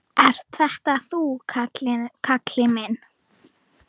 Ert þetta þú, Kalli minn?